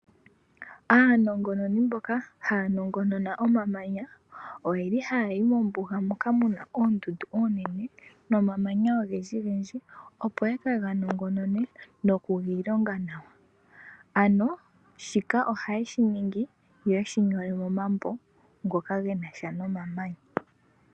Aanongononi mboka haya nongonona omamanya oyeli haya yi mombuga moka mu na oondundu oonene nomamanya ogendjigendji opo yeke ga nongonone noku giilonga nawa. Ano shoka ohaye shi ningi, yo yeshi nyole momambo ngoka gena sha nomamanya.